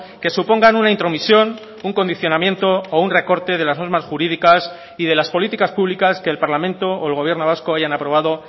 que supongan una intromisión un condicionamiento o un recorte de las normas jurídicas y de las políticas públicas que el parlamento o el gobierno vasco hayan aprobado